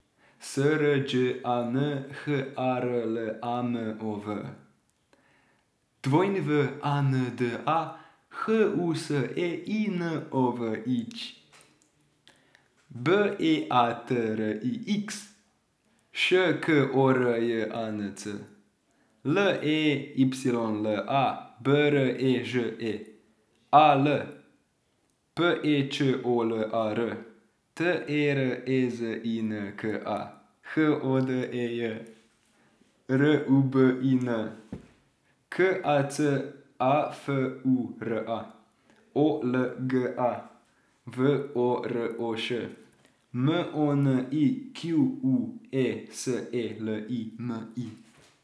S R Đ A N, H A R L A M O V; W A N D A, H U S E I N O V I Ć; B E A T R I X, Š K O R J A N C; L E Y L A, B R E Ž E; A L, P E Č O L A R; T E R E Z I N K A, H O D E J; R U B I N, K A C A F U R A; O L G A, V O R O Š; M O N I Q U E, S E L I M I.